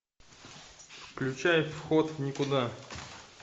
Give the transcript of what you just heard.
включай вход в никуда